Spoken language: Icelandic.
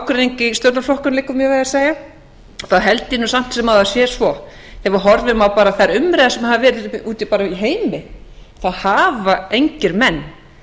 stjórnarflokkunum liggur mér við að segja þá held ég samt sem áður að það sé svo þegar maður horfir á þær umræður sem hafa verið úti í heimi þá hafa engir menn